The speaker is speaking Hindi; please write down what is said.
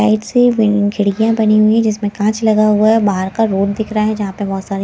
साइड से खिड़कियां बनी हुई है जिसमें कांच लगा हुआ है बाहर का रोड दिख रहा है जहां पे बहुत सारे --